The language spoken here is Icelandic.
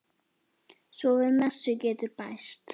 Svo við messu getur bæst.